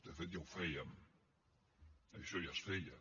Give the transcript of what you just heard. de fet ja ho fèiem això ja es feia